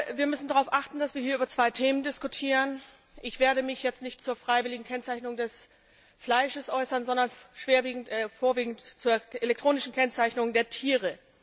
Wir müssen darauf achten, dass wir hier über zwei Themen diskutieren. Ich werde mich jetzt nicht zur freiwilligen Kennzeichnung des Fleisches äußern, sondern vorwiegend zur elektronischen Kennzeichnung der Tiere.